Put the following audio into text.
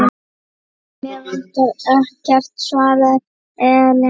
Mig vantar ekkert, svaraði Ellen.